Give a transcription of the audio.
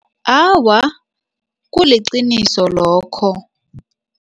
Awa, kuliqiniso lokho.